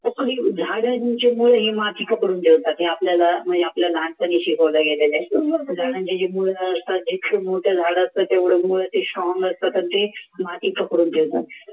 हे माती पकडून ठेवतात हे आपल्याला लहानपणी शिकवलं गेलेलं आहे झाडांचे जे मूळ असतात ते खूप मोठे झाड असतात ते तेवढं मूळ strong strong असतात ते